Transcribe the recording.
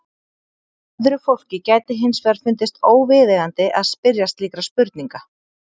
Öðru fólki gæti hins vegar fundist óviðeigandi að spyrja slíkra spurninga.